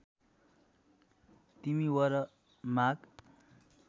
तिमी वर माग